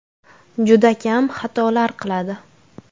Juda kam xatolar qiladi.